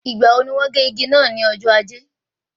Ìgbà wo ní wọ́n gé igi náà ní ọjọ́ ajé?